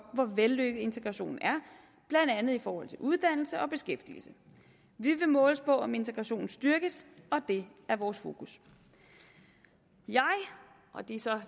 hvor vellykket integrationen er blandt andet i forhold til uddannelse og beskæftigelse vi vil måles på om integrationen styrkes og det er vores fokus jeg og det er så